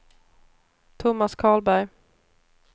Tomas Karlberg